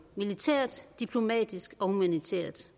militært diplomatisk og humanitært